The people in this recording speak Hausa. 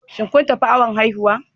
Shin kun tafi awon haihuwa?